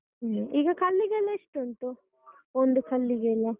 ಈಗ ಕಲ್ಲಿಗೆಲ್ಲಾ ಎಷ್ಟುಂಟು? ಒಂದು ಕಲ್ಲಿಗೆಲ್ಲಾ?